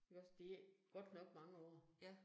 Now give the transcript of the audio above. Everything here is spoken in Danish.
Ikke også, det godt nok mange år